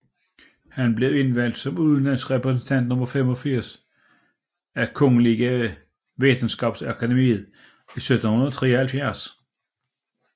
Han blev indvalgt som udenlandsk repræsentant nummer 85 af Kungliga Vetenskapsakademien i 1773